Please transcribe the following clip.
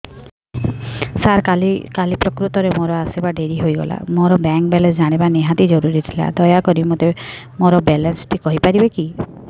ସାର କାଲି ପ୍ରକୃତରେ ମୋର ଆସିବା ଡେରି ହେଇଗଲା ମୋର ବ୍ୟାଙ୍କ ବାଲାନ୍ସ ଜାଣିବା ନିହାତି ଜରୁରୀ ଥିଲା ଦୟାକରି ମୋତେ ମୋର ବାଲାନ୍ସ ଟି କହିପାରିବେକି